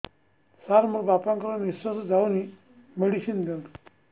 ସାର ମୋର ବାପା ଙ୍କର ନିଃଶ୍ବାସ ଯାଉନି ମେଡିସିନ ଦିଅନ୍ତୁ